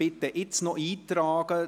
Bitte tragen Sie sich jetzt noch ein.